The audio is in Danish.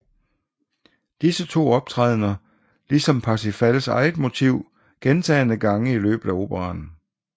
Disse to optræder lige som Parsifals eget motiv gentagne gange i løbet af operaen